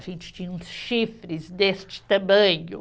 A gente tinha uns chifres deste tamanho.